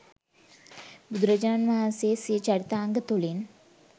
බුදුරජාණන් වහන්සේ සිය චරිතාංග තුළින්